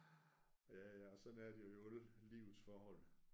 Ja ja og sådan er det jo i alle livets forhold